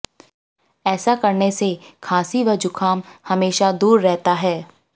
ऐसा करने से खांसी व जुकाम हमेशा दूर रहता है